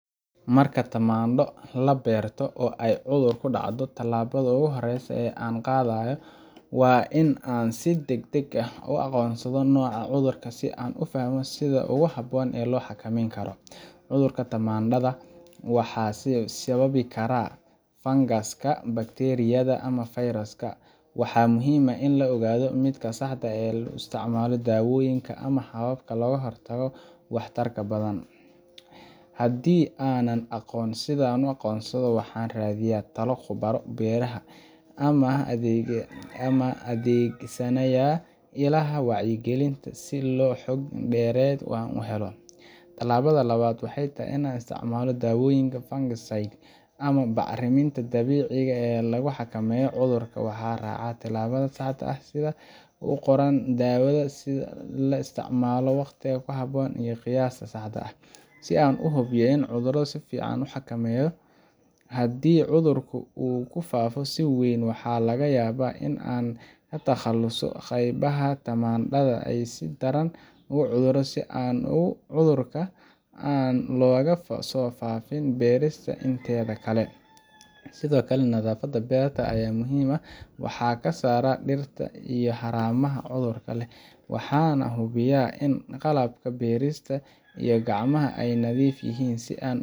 Marka tamaandho la beerto oo ay cudur ku dhaco, tallaabada ugu horeysa ee aan qaado waa in aan si degdeg ah u aqoonsado nooca cudurka si aan u fahmo sida ugu habboon ee loo xakameyn karo. Cudurrada tamaandhada waxaa sababi kara fangaska, bakteeriyada, ama fayrasyo, waxaana muhiim ah in la ogaado midka saxda ah si aan u isticmaalo daawooyinka ama hababka ka hortagga ugu waxtarka badan. Haddii aanan aqoon sida loo aqoonsado, waxaan raadiyaa talo khubaro beeraha ah ama adeegsanayaa ilaha wacyigelinta si aan xog dheeraad ah u helo. Tallaabada labaad waxay tahay in aan isticmaalo daawooyin fungicides ama bacriminta dabiiciga ah ee lagu xakameeyo cudurka. Waxaan raacaa tilmaamaha saxda ah ee ku qoran daawada, sida in la isticmaalo waqtiga ku habboon iyo qiyaasta saxda ah, si aan u hubiyo in cudurka si fiican loo xakameeyo. Haddii cudurku uu ku faafo si weyn, waxaa laga yaabaa in aan ka takhaluso qaybaha tamaandhada ee si daran u cuduray, si aan cudurka aan looga sii faafin beerta inteeda kale. Sidoo kale, nadaafadda beerta aad ayaa muhiim u ah. Waxaan ka saaraa dhirta iyo haramaha cudurka leh, waxaanan hubiyaa in qalabka beerista iyo gacmaha ay nadiif yihiin, si aan